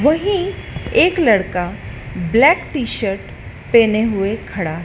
वहीं एक लड़का ब्लैक टी शर्ट पहने हुए खड़ा--